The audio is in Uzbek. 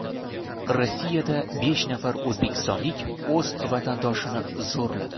Rossiyada besh nafar o‘zbekistonlik o‘z vatandoshini zo‘rladi.